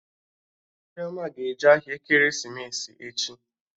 Chioma ga-eje ahịa ekeresimesi echi